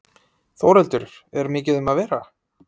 Þórhildur, er mikið um að vera?